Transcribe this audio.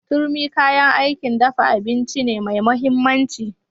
Turmi kayan aikin dafa abinci ne mai mahimmanci.